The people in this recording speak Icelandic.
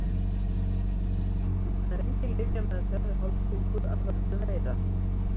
Það er engin lyfjameðferð við hálsbólgu af völdum veira.